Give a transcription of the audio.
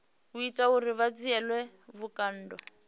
ita uri vha dzhielwe vhukando